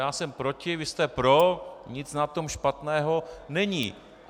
Já jsem proti, vy jste proti, nic na tom špatného není.